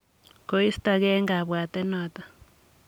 koistogei eng kabwatet notok.